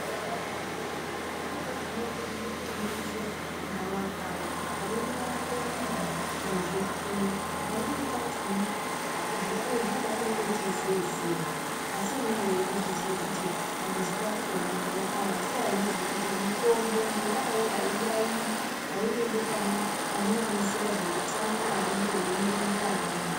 Pamweni pachona munenge mweiziya kuti gavakava rinorape muntu nezvifuyo. Pamweni pachona zvifuyo zvinobatwa ngechi zeze asi unenge weitozviziya kuti pamuzi pakopo une gavakava asi awuzviziyi kuti mutombo ngenyaya yei awuyaiyi auendi pane vanoziya zveutsanana vanenge veimuronzera vaya vaya.